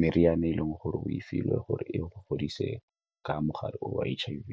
meriana e leng gore o filwe gore e godise ka mogare o wa H_I_V.